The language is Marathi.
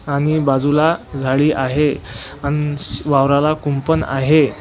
आणि बाजूला झाडी आहे आणि वावराला कुंपन आहे.